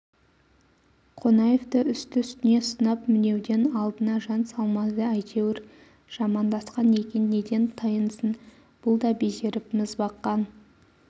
қонаевты үсті-үстіне сынап-мінеуден алдына жан салмады әйтеуір жамандасқан екен неден тайынсын бұл да безеріп міз баққан